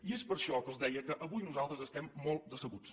i és per això que els deia que avui nosaltres estem molt decebuts